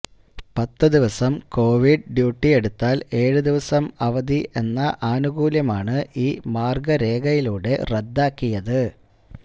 പത്തു ദിവസം Covid duty എടുത്താല് ഏഴു ദിവസം അവധി എന്ന ആനുകൂല്യമാണ് ഈ മാര്ഗരേഖയിലൂടെ റദ്ദാക്കിയത്